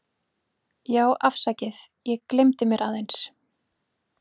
Já afsakið, ég gelymdi mér aðeins.